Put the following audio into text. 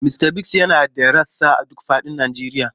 Mista Biggs yana da rassa a duk fadin Najeriya.